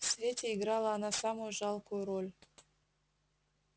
в свете играла она самую жалкую роль